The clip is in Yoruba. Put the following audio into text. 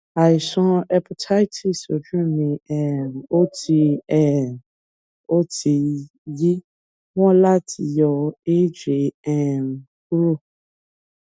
àìsàn hépátíìsì ojú mé um o ti um o ti yí wán láti yọ èjè um kúrò